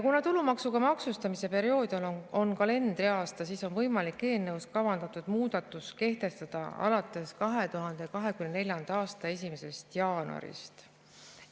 Kuna tulumaksuga maksustamise periood on kalendriaasta, siis on võimalik eelnõus kavandatud muudatus kehtestada alates 2024. aasta 1. jaanuarist.